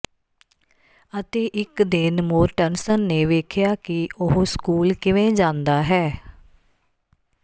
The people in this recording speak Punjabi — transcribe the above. ਅਤੇ ਇੱਕ ਦਿਨ ਮੋਰਟਨਸਨ ਨੇ ਵੇਖਿਆ ਕਿ ਉਹ ਸਕੂਲ ਕਿਵੇਂ ਜਾਂਦਾ ਹੈ